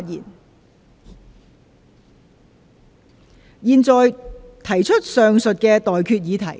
我現在向各位提出上述待決議題。